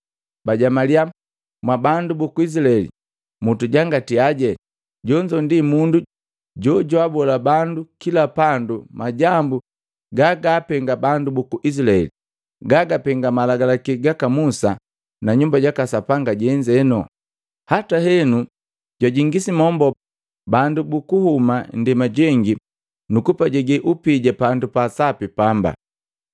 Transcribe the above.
Bajamaliya, “Mwabandu buku Isilaeli, mutujangatiaje! Jonzo ndi mundu jojwabola bandu kila pandu majambu gagaapenga bandu buku Isilaeli, gagapenga malagalaki gaka Musa na Nyumba jaka Sapanga jenzeno. Hata heno jwajingisi mombo bandu bukuhuma ndema jengi nuku pajege upija pandu pasapi pamba.”